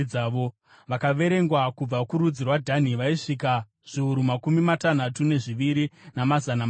Vakaverengwa kubva kurudzi rwaDhani vaisvika zviuru makumi matanhatu nezviviri, namazana manomwe.